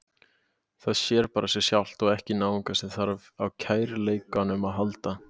Það sér bara sig sjálft og ekki náungann sem þarf á kærleikanum að halda.